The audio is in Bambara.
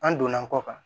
An donna kɔ kan